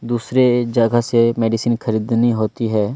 दूसरे जगह से मेडिसिन खरीदनी होती है।